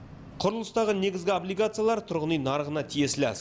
құрылыстағы негізгі облигациялар тұрғын үй нарығына тиесілі